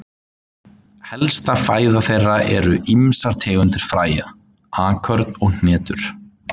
Helsta fæða þeirra eru ýmsar tegundir fræja, akörn og hnetur.